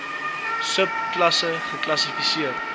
sub klasse geklassifiseer